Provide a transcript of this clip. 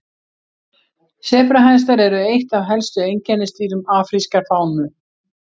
sebrahestar eru eitt af helstu einkennisdýrum afrískrar fánu